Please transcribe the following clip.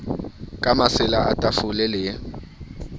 ka masela a tafole le